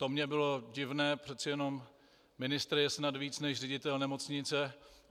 To mně bylo divné, přece jenom ministr je snad víc než ředitel nemocnice.